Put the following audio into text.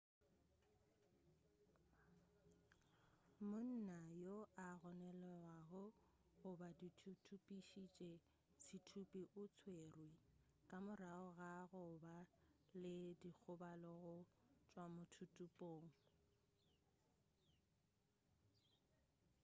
monna yo a gononelwago go ba thuthupišitše sethuthupi o tswerwe ka morago ga go ba le dikgobalo go tšwa mothuthupong